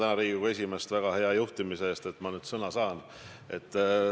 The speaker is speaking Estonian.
Ja ma tänan Riigikogu esimeest väga hea juhtimise eest, et nüüd ma saangi sõna.